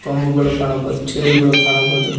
ಅಂಬುಗಳು ಕಾಣಬಹುದು ಚೇರ್ ಗಳು ಕಾಣಬಹುದು.